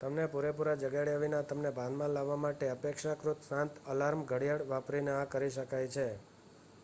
તમને પૂરેપૂરા જગાડ્યા વિના તમને ભાનમાં લાવવા માટે અપેક્ષાકૃત શાંત અલાર્મ ઘડિયાળ વાપરીને આ કરી શકાય છે